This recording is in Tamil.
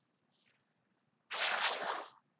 ஆஹ் hello